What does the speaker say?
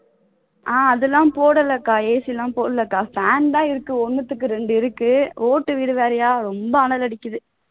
ஆஹ் அதெல்லாம் போடல அக்கா AC எல்லாம் போடல அக்கா பேன் தான் இருக்கு ஒண்ணுத்துக்கு ரெண்டு இருக்கு ஓட்டு வீடு வேறயா ரொம்ப அனல் அடிக்குது